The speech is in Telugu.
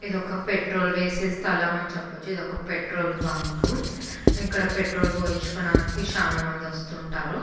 ఇది ఒకపెట్రోల్ వేసే స్థలము అని చెప్పవచ్చు. ఇది ఒక పెట్రోల్ బంక్ ఇక్కడ పెట్రోల్ పోయించుకోవడానికి చానా మంది వస్తుంటారు.